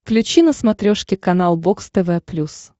включи на смотрешке канал бокс тв плюс